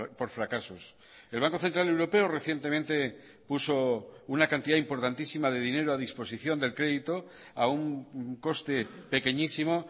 por fracasos el banco central europeo recientemente puso una cantidad importantísima de dinero a disposición del crédito a un coste pequeñísimo